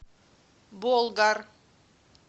болгар